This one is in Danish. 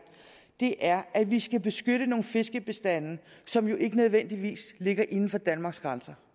er at vi skal beskytte nogle fiskebestande som jo ikke nødvendigvis ligger inden for danmarks grænser